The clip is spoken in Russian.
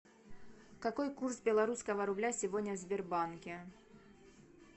какой курс белорусского рубля сегодня в сбербанке